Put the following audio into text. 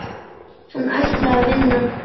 Hann ætlaði að vinna.